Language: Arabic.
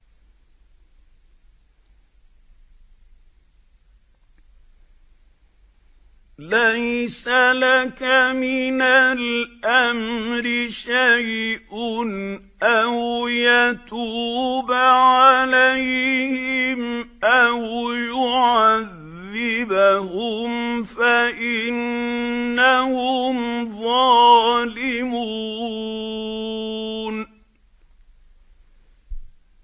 لَيْسَ لَكَ مِنَ الْأَمْرِ شَيْءٌ أَوْ يَتُوبَ عَلَيْهِمْ أَوْ يُعَذِّبَهُمْ فَإِنَّهُمْ ظَالِمُونَ